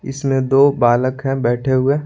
इसमें दो बालक हैं बैठे हुए।